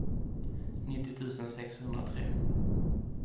nittio tusen sexhundratre